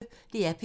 DR P1